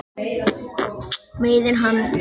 Meiðir hann.